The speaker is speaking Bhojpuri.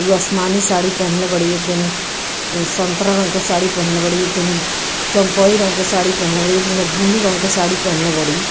इ आसमानी साड़ी पहनले बाड़ी एक जनी संतरा रंग के साड़ी पहनले बाड़ी एक जनी चम्पई रंग के साड़ी पहनले बाड़ी एक जनी ब्लू रंग के साड़ी पहनले बाड़ी।